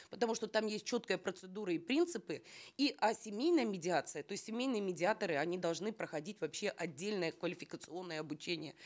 потому что там есть четкая процедура и принципы и а семейная медиация то есть семенйые медиаторы они должны проходить вообще отдельное квалификационное обучение